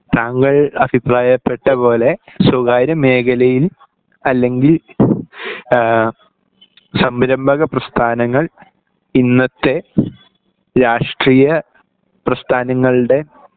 താങ്കൾ അഭിപ്രായപ്പെട്ട പോലെ സ്വകാര്യ മേഖലയിൽ അല്ലെങ്കിൽ ഈഹ് സംഭ്രമ്പക പ്രസ്ഥാനങ്ങൾ ഇന്നത്തെ രാഷ്ട്രീയ പ്രസ്ഥാനങ്ങൾടെ